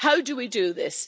How do we do this?